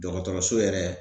Dɔgɔtɔrɔso yɛrɛ